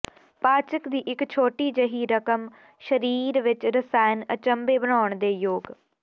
ਪਾਚਕ ਦੀ ਇੱਕ ਛੋਟੀ ਜਿਹੀ ਰਕਮ ਸਰੀਰ ਵਿਚ ਰਸਾਇਣਕ ਅਚੰਭੇ ਬਣਾਉਣ ਦੇ ਯੋਗ